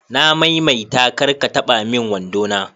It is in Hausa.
Na mai mai ta kar ka taba min wando na